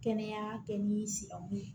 Kɛnɛya kɛ ni silamɛw ye